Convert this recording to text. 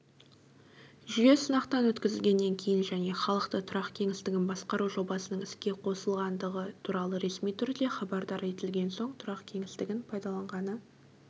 жүйе сынақтан өткізілгеннен кейін және халықты тұрақ кеңістігін басқару жобасының іске қосылғандығы туралы ресми түрде хабардар етілген соң тұрақ кеңістігін пайдаланғаны